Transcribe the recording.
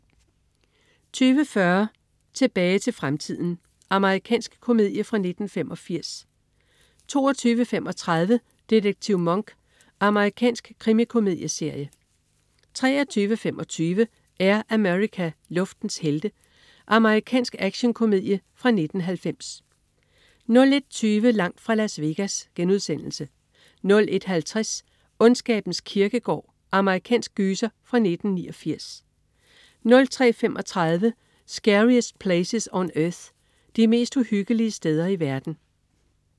20.40 Tilbage til fremtiden. Amerikansk komedie fra 1985 22.35 Detektiv Monk. Amerikansk krimikomedieserie 23.25 Air America. Luftens helte. Amerikansk actionkomedie fra 1990 01.20 Langt fra Las Vegas* 01.50 Ondskabens kirkegård. Amerikansk gyser fra 1989 03.35 Scariest Places on Earth. De mest uhyggelige steder i verden